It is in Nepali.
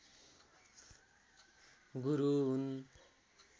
गुरु हुन्